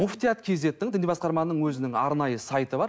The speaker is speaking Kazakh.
муфтият кизеттің діни басқарманың өзінің арнайы сайты бар